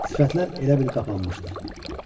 Sifətlər elə bil qapqaralmışdı.